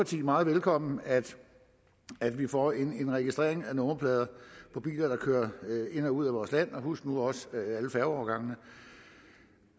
meget velkommen at vi får en registrering af nummerplader på biler der kører ind og ud af vores land og husk nu også alle færgeovergangene